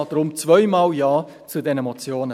Deshalb zweimal Ja zu diesen Motionen.